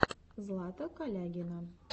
злата калягина